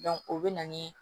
o bɛ na ni